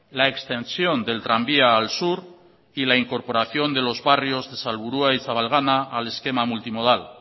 la extensión del tranvía al sur y la incorporación de los barrios de salburua y zabalgana al esquema multimodal